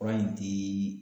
Fari in ti